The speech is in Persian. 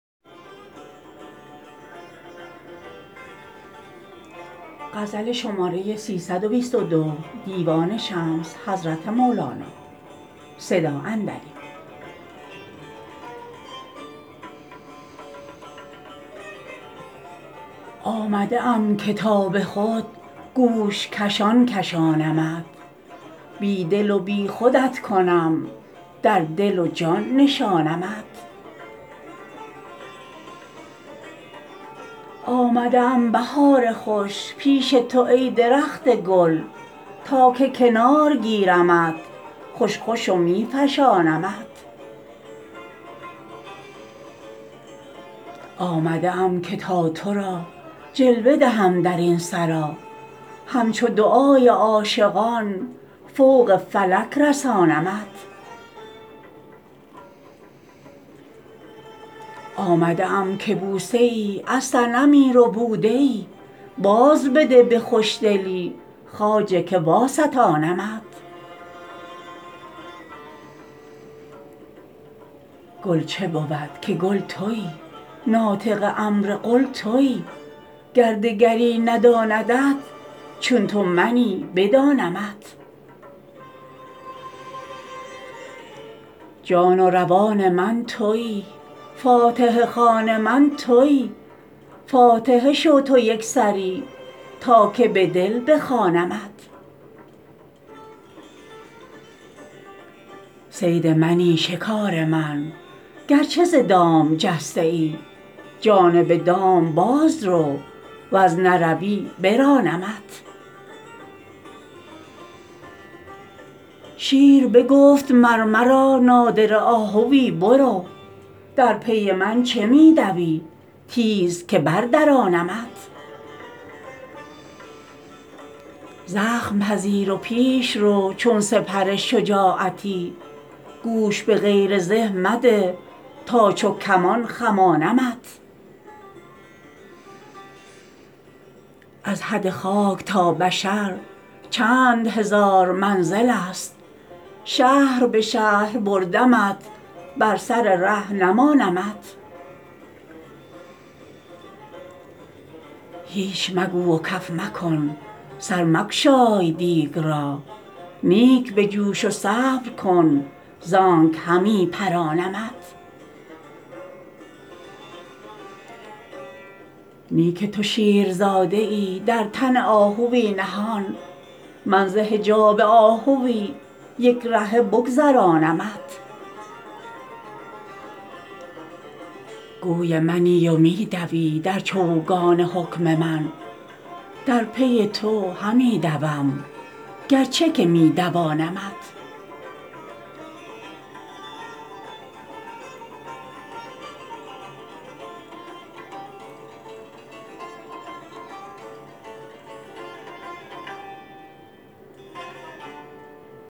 آمده ام که تا به خود گوش کشان کشانمت بی دل و بی خودت کنم در دل و جان نشانمت آمده ام بهار خوش پیش تو ای درخت گل تا که کنار گیرمت خوش خوش و می فشانمت آمده ام که تا تو را جلوه دهم در این سرا همچو دعای عاشقان فوق فلک رسانمت آمده ام که بوسه ای از صنمی ربوده ای بازبده به خوشدلی خواجه که واستانمت گل چه بود که کل تویی ناطق امر قل تویی گر دگری نداندت چون تو منی بدانمت جان و روان من تویی فاتحه خوان من تویی فاتحه شو تو یک سری تا که به دل بخوانمت صید منی شکار من گرچه ز دام جسته ای جانب دام باز رو ور نروی برانمت شیر بگفت مر مرا نادره آهوی برو در پی من چه می دوی تیز که بردرانمت زخم پذیر و پیش رو چون سپر شجاعتی گوش به غیر زه مده تا چو کمان خمانمت از حد خاک تا بشر چند هزار منزلست شهر به شهر بردمت بر سر ره نمانمت هیچ مگو و کف مکن سر مگشای دیگ را نیک بجوش و صبر کن زانک همی پزانمت نی که تو شیرزاده ای در تن آهوی نهان من ز حجاب آهوی یک رهه بگذرانمت گوی منی و می دوی در چوگان حکم من در پی تو همی دوم گرچه که می دوانمت